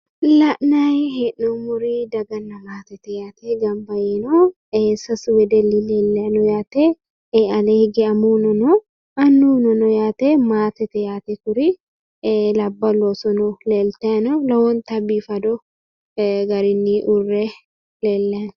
La'naayi hee'noommori daganna maatete yaate gamba yiinohu sasu wedelli leellayino yaate alee higge amuuwuno annuwuno no yaate maatete yaate kuri labballu oosono no lowo geeshsha biiffe no yaate.